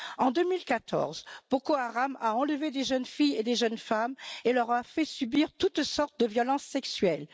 En 2014, Boko Haram a enlevé des jeunes filles et des jeunes femmes et leur a fait subir toutes sortes de violences sexuelles.